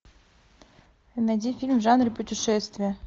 найди фильм в жанре путешествия